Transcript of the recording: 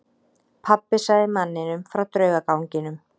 Pabbi sagði manninum frá draugaganginum.